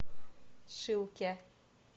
шилке